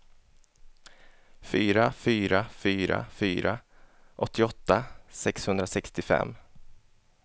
fyra fyra fyra fyra åttioåtta sjuhundrasextiofem